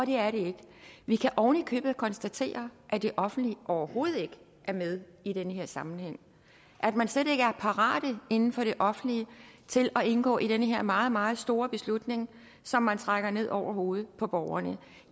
det er det ikke vi kan ovenikøbet konstatere at det offentlige overhovedet ikke er med i den her sammenhæng at man slet ikke er parat inden for det offentlig til at indgå i den her meget meget store beslutning som man trækker ned over hovedet på borgerne